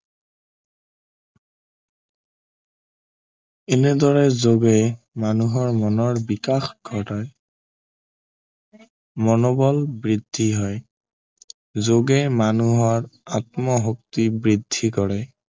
এনেদৰে যোগে মানুহৰ মনৰ বিকাশ ঘটায় মনোবল বৃদ্ধি হয় যোগে মানুহৰ আত্মশক্তি বৃদ্ধি কৰে